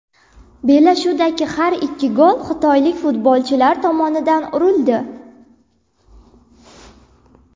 Bellashuvdagi har ikki gol xitoylik futbolchilar tomonidan urildi.